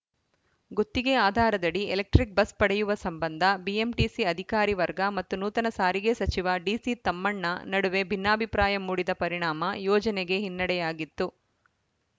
ಗುತ್ತಿಗೆ ಆಧಾರದಡಿ electric bus ಪಡೆಯುವ ಸಂಬಂಧ ಬಿಎಂಟಿಸಿ ಅಧಿಕಾರಿ ವರ್ಗ ಮತ್ತು ನೂತನ ಸಾರಿಗೆ ಸಚಿವ ಡಿಸಿತಮ್ಮಣ್ಣ ನಡುವೆ ಭಿನ್ನಾಭಿಪ್ರಾಯ ಮೂಡಿದ ಪರಿಣಾಮ ಯೋಜನೆಗೆ ಹಿನ್ನಡೆಯಾಗಿತ್ತು